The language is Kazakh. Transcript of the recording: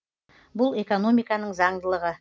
бұл экономиканың заңдылығы